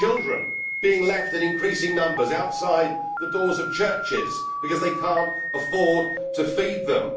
Children are being left in increasing numbers outside the doors of churches because their parents cannot afford to feed them.